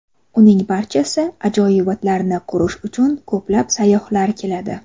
Uning barcha ajoyibotlarini ko‘rish uchun ko‘plab sayyohlar keladi.